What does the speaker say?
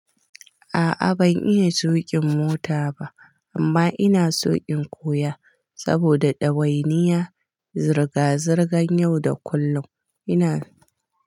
A'a ban iya tuƙin mota ba amma ina so in koya saboda ɗawainiya, zirga-zirgan yau da kullum. Ina.